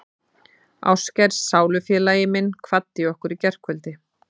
Ástkær sálufélagi minn kvaddi okkur í gærkvöldi.